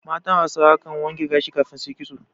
Matan Hausawa kan wanke gashi kafin su yi ƙitso.